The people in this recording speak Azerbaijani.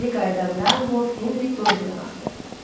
Geri qayıdanda Lord Henri Doryana baxdı.